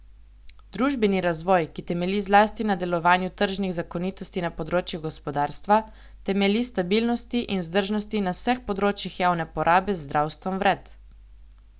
Družbeni razvoj, ki temelji zlasti na delovanju tržnih zakonitosti na področju gospodarstva, temelji na stabilnosti in vzdržnosti na vseh področjih javne porabe z zdravstvom vred.